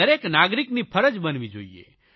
દરેક નાગરિકની ફરજ બનવી જોઇએ